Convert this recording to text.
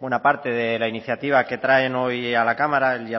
buena parte de la iniciativa que traen hoy a la cámara él